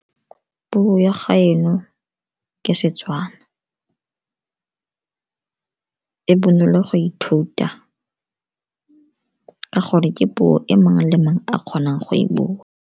Puo ya gaeno ke Setswana, e bonolo go ithuta ka gore ke puo e mang le mang a kgonang go e bua.